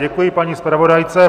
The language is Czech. Děkuji paní zpravodajce.